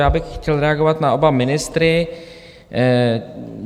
Já bych chtěl reagovat na oba ministry.